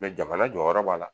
Mɛ jamana jɔ jɔyɔrɔ b'a la